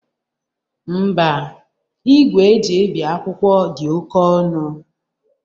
Ḿbà, igwe eji ebi akwụkwọ dị oke ọnụ.